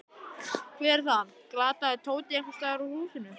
Hver er þar? galaði Tóti einhvers staðar úr húsinu.